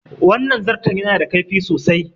Wannan zarton ya na da kaifi sosai